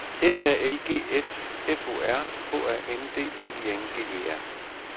S A L G S F O R H A N D L I N G E R